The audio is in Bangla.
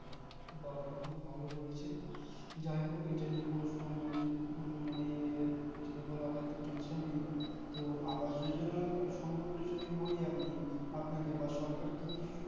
বা বা খুব ভালো করেছিস যাই হোক এ টা নিয়ে কোনো সম্মানের মানে যদি বলা হয় তো tension নেই তো আবাস যোজনার সম্পর্কে যদি বলি আপনি বা আপনাকে বা সরকার কি কি